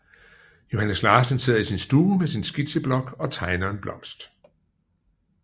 Johannes Larsen sidder i sin stue med sin skitseblok og tegner en blomst